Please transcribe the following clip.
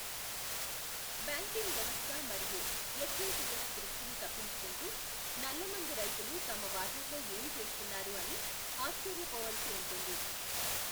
Banking వ్యవస్థ మరియు FATF దృష్టిని తప్పించుకుంటూ, నల్లమందు రైతులు తమ వాటాతో ఏమి చేస్తున్నారు అని ఆశ్చర్యపోవలసి ఉంటుంది.